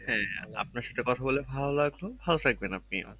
আপনার সাথে কথা বলে ভালো লাগলো ভালো থাকবেন আপনি